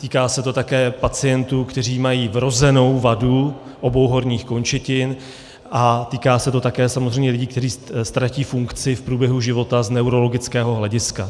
Týká se to také pacientů, kteří mají vrozenou vadu obou horních končetin, a týká se to také samozřejmě lidí, kteří ztratí funkci v průběhu života z neurologického hlediska.